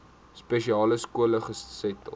spesiale skole gesetel